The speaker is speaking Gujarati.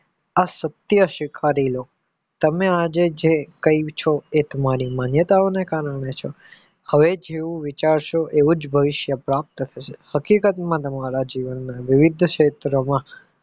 આ સત્ય સ્વીકારી લો તમે આજે જે કંઈ છો એ તમારી માન્યતાઓને કારણે છો હવે જેવું વિચારશો એવું જ ભવિષ્ય પ્રાપ્ત થશે હકીકતમાં તમારા જીવનના વિવિધ ક્ષેત્ર માં